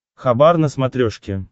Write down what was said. хабар на смотрешке